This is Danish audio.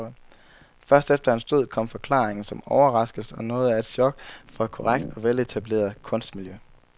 Først efter hans død kom forklaringen, som overraskelse og noget af et chok for et korrekt og veletableret kunstmiljø.